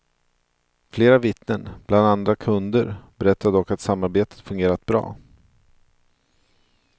Flera vittnen, bland andra kunder, berättade dock att samarbetet fungerat bra.